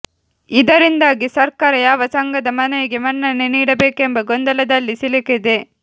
ಇದರಿಂದಾಗಿ ಸರ್ಕಾರ ಯಾವ ಸಂಘದ ಮನವಿಗೆ ಮನ್ನಣೆ ನೀಡಬೇಕೆಂಬ ಗೊಂದಲದಲ್ಲಿ ಸಿಲುಕಿದೆ